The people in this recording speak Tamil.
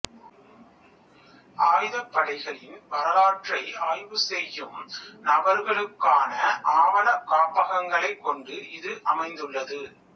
ஆயுதப்படைகளின் வரலாற்றை ஆய்வு செய்யும் நபர்களுக்கான ஆவணக் காப்பகங்களைக் கொண்டு இது அமைந்துள்ளது